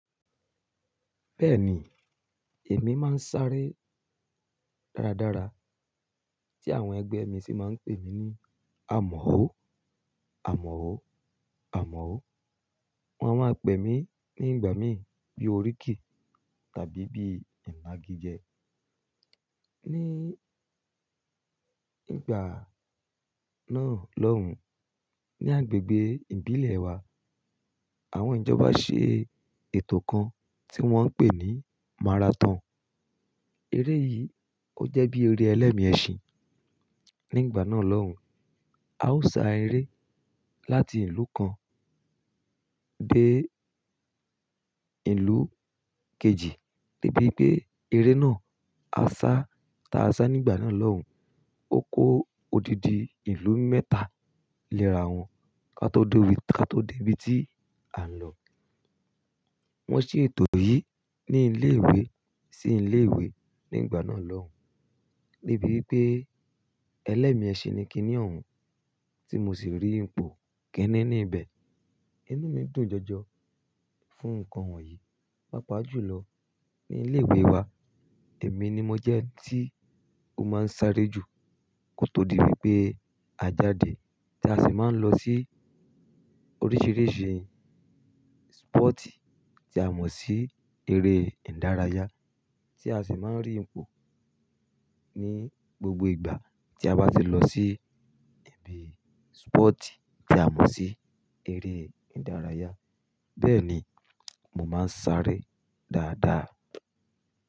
Bẹ́ẹ̀ni, èmi máa ń sáré dára dára, tí àwọn ẹgbẹ́ mi sì máa ń pè mí ní amọ̀ ọ́, amọ̀ ọ́, amọ̀ ọ́. Wọn a máa pè mí ní ìgbà mí bíi oríkì tàbí bíi ìnagijẹ. Ni ìgbà náà lọ́hùn, ní agbègbè ìbílẹ̀ wa, àwọn ìjọba ṣe ètò kan tí wọ́n ń pè ní maraton. Eré yìí ó jẹ́ bí eré ẹlẹ́mi ẹṣin. Ní ìgbà náà lọ́hùn, a ó sá eré láti ìlú kan dé ìlú kejì, débipé eré náà á sá tàá sá ní ìgbà náà lọ́hùn, ó kó odidi ìlú mẹ́ta léra wọn ká tó dé ibi tí a ń lọ. Wọn ṣe ètò yìí ní ilé ìwé sí ilé ìwé ní ìgbà náà lọ́hùn, débi wípé ẹlẹ́mi ẹṣin ni kíní ọ̀hún, tí mo sì rí ipò kínní ní ibẹ̀. Inú mi dùn jọjọ fún nǹkan wọ̀nyí. Pápá jù lọ ní ilé ìwé wa, èmi ni mo jẹ́ tí ó máa ń sáré jù kó tó di wípé a jáde tí a sì máa ń lọ sí oríṣìíríṣìí sípọ̀tì tí a mọ̀ sí eré ìdárayá tí a sì máa ń rí ipò ní gbogbo ìgbà tí a bá ti lọ sí ibi sípọ̀tì tí a mọ̀ sí eré ìdárayá. Bẹ́ẹ̀ni, mo máa ń sáré dáadáa.